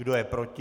Kdo je proti?